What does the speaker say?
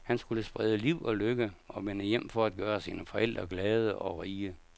Han skulle sprede liv og lykke og vende hjem for at gøre sine forældre glade og rige.